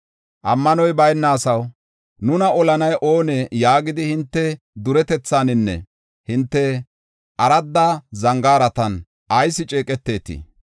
Ammanoy bayna asaw, ‘Nuna olanay oonee?’ yaagidi hinte duretethaaninne hinte aradda zangaaratan ayis ceeqetetii?